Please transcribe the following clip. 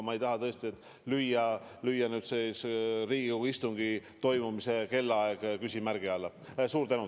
Praegu ma tõesti ei taha Riigikogu istungi õigel ajal algamist küsimärgi alla panna.